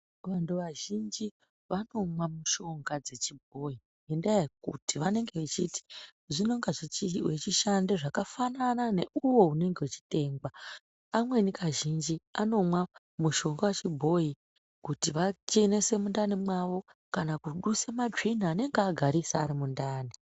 Vantu vazhinji vanomwa mishonga dzechibhoyi ngendaaya yekuti vanenge vechiti zvinonga wechishande zvakafanana neuwo unenge wechitengwa amweni kazhinji anomwa mushonga wechibhoyi kuti achenese mundani mwawo kana kudusa matsvina anenge agariswa arimundani.